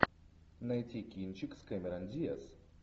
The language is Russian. найти кинчик с кэмерон диаз